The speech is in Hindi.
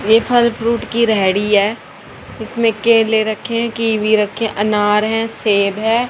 ये फल फ्रूट की रेहड़ी है इसमें केले रखे हैं कीवी रखें अनार है सेब है।